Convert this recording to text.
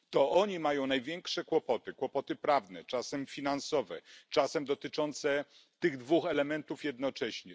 To oni mają największe kłopoty, kłopoty prawne, czasem finansowe, czasem dotyczące tych dwóch elementów jednocześnie.